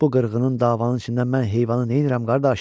Bu qırğının davanın içində mən heyvanı neynirəm, qardaş?